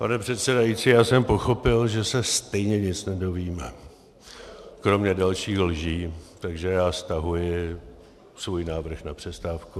Pane přesedající, já jsem pochopil, že se stejně nic nedozvíme, kromě dalších lží, takže já stahuji svůj návrh na přestávku.